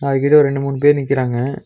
அது கிட்ட ஓரு ரெண்டு மூணு பேர் நிக்கறாங்க.